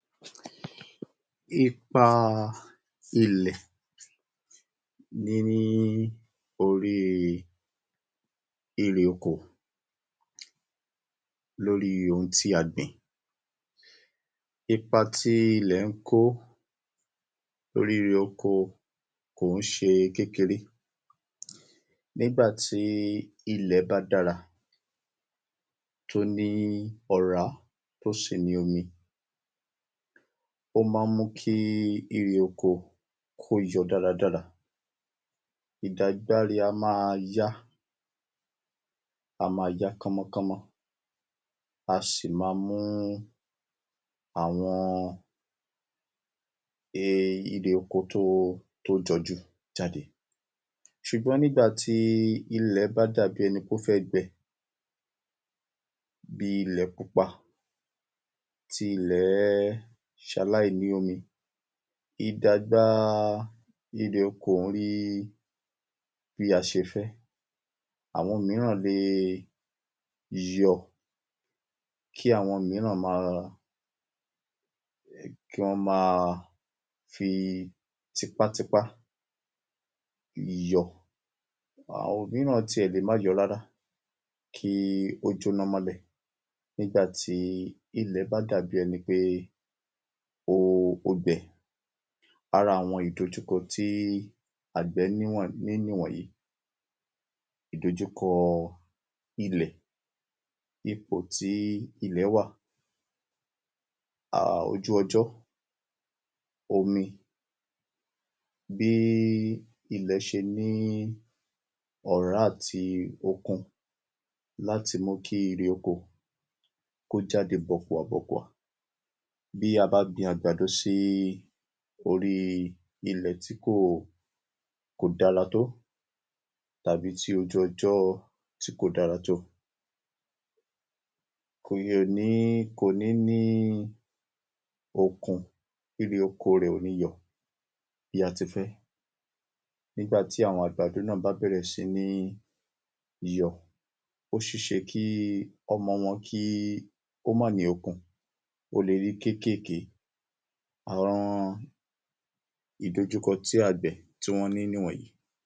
Ipa ilẹ̀ ní orí ère oko lóri oun tí a gbìn. ipa tí ilẹ̀ ń kó lóri oko kò ń ṣe kékeré nígbàtí ilẹ̀ bá dára tó ní ọ̀rá tí ó sì ni omi, ó ma ń mú kí ère oko kó yọ dáradára, ìdàgbà rẹ̀ á máa yá, á máa yá kánmọ́ kánmó, á sì ma mú àwọn ère oko tó jọjú jáde, ṣùgbọ́n nígbà tí ilẹ̀ bá dàbi ẹnipé ó fẹ́ gbẹ, bí ilẹ̀ pupa tí ilẹ̀ ṣaláìní omi, ìdàgbà erè oko ò ní rí bí a ṣe fẹ́, àwọn míràn lè yọ, kí àwọn míràn kí wọ́n máa fi tipátipá yọ, àwọn míràn sì lè má yọ rárá, kí ó jóná mọ́lẹ̀ nígbà tí ilẹ̀ bá dàbi ẹni pé ó gbẹ, ara àwọn ìdojúkọ tí àgbẹ̀ ní nìwọ̀nyí: ìdọjúkọ ilẹ̀, ipò tí ilẹ̀ wà, ojú ọjọ́, omi, bí ilẹ̀ ṣe ní ọ̀rá àti okun láti mú kí ère oko kó jáde bọ̀kùà bọ̀kùà, bí a bá gbin àgbàdo sí orí ilẹ̀ tí kò dára tó, tàbí tí ojú ọjọ́ tí kò dára tó, kò ní ní okun níbi oko rẹ̀ ò ní yọ bí a tí fẹ, nígbàtí àwọn àgbàdo náà bá bẹ̀rẹ̀ sí ní yọ, ó ṣeéṣe kí ọmọ wọn ó má ní okun, ó lè rí kékèké. Àwọn ìdojúkọ tí àgbẹ̀ tí wọ́n ní nìwọnyí.